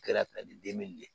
Kɛra de ye